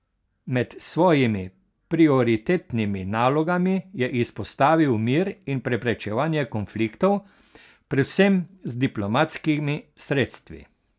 Med svojimi prioritetnimi nalogami je izpostavil mir in preprečevanje konfliktov, predvsem z diplomatskimi sredstvi.